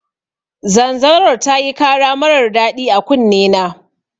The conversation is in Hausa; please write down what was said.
Zanzaror tayi kara marar daɗi a kunne na